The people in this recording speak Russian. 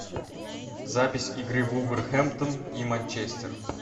запись игры вулверхэмптон и манчестер